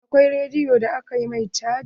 Akwai rediyon da aka ma caji.